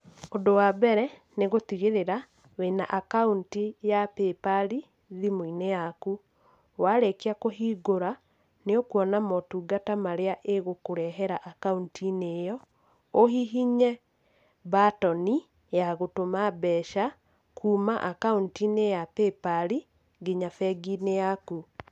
Ũndũ wambere nĩ gũtigĩrĩra wĩna akaunti ya paypal thimũ-inĩ yaku. Warĩkia kũhingũra nĩ ũkuona motungata marĩa ĩgũkũrehera akaunti-inĩ ĩyo, ũhihinye mbatoni ya gũtũma mbeca kuuma akaunti-inĩ ya paypal nginya bengi-inĩ yaku.